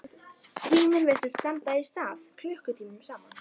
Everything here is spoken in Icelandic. Tíminn virtist standa í stað klukkutímum saman.